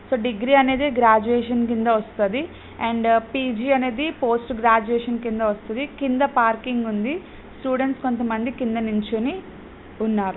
So degree అనెది graduation కింద వస్తది అండ్ పి జి అనేది పోస్ట్ గ్రాడ్యుసిన్ కింద వస్తది కింద పార్కింగ్ ఉంది స్టూడెంట్స్ కొంత మంది కింద నిల్చొని ఉన్నారు.